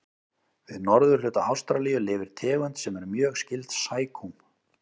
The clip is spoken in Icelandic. Við norðurhluta Ástralíu lifir tegund sem er mjög skyld sækúm.